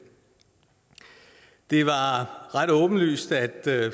det var ret åbenlyst at